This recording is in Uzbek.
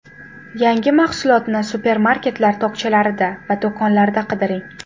Yangi mahsulotni supermarketlar tokchalarida va do‘konlarda qidiring.